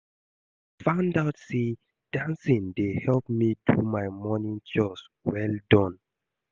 I find out say dancing dey help me do my morning chores well done